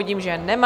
Vidím, že nemá.